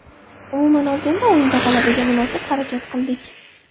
Umuman olganda, o‘yinda g‘alabaga munosib harakat qildik.